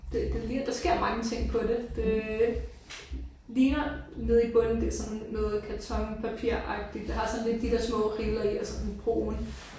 Det det ligner der sker mange ting på det. Det øh ligner nede i bunden det er sådan noget karton papiragtigt det har sådan lidt de der små riller i og sådan brun